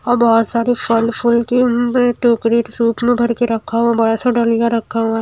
और बहोत सारी फल फूल की उ टोकरी सूट में भर के रखा हुआ बड़ा सा डलियां रखा हुआ--